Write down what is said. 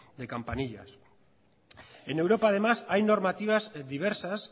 de campanillas en europa además hay normativas diversas